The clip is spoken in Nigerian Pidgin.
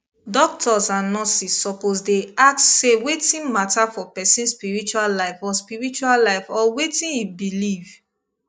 doctors and nurses suppose dey ask say wetin matter for person spiritual life or spiritual life or watin he belief